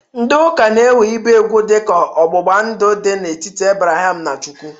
Ndị ụka na-ewe ibe ugwu dịka ọgbụgba ndụ dị n'etiti Abraham na Chukwu.